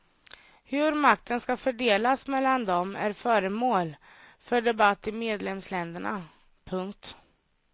Hur makten ska fördelas mellan dem är föremål för debatt i medlemsländerna. punkt